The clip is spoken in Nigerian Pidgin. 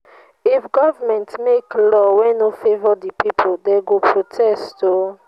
if some workers dey enjoy dey enjoy and others dey suffer protest go fit happen.